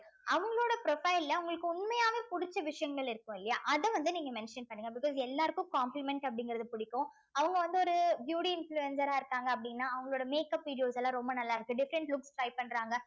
அவங்களோட profile ல உங்களுக்கு உண்மையாவே புடிச்ச விஷயங்கள் இருக்கும் இல்லையா அத வந்து நீங்க mention பண்ணுங்க because எல்லாருக்கும் complement அப்படிங்கிறது பிடிக்கும் அவங்க வந்து ஒரு beauty influencer அ இருக்காங்க அப்படின்னா அவங்களோட makeup videos எல்லாம் ரொம்ப நல்லா இருக்கு different looks try பண்றாங்க